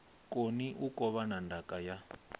koni u kovhana ndaka ya